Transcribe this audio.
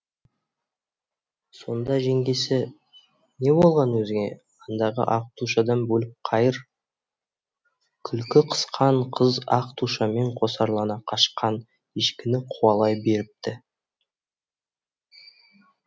сонда жеңгесі не болған өзіңе андағы ақ тушадан бөліп қайыр күлкі қысқан қыз ақ тушамен қосарлана қашқан ешкіні қуалай беріпті